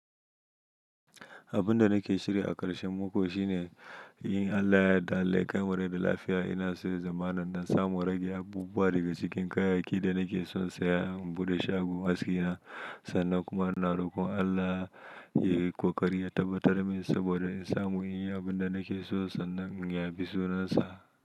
Abin da nake shirya a ƙarshen mako shine yin Allah ya yaddda allah ya kaimu rai da lafiya. Ina so zamanin na samu rage abubuwa daga cikin kayayyakin da nake so saya, buɗe shago aski na sannan kuma ina rokon Allah ya yi ƙoƙari ya tabbatar min saboda in samu yin abin da nake so sannan ya bi sunansa.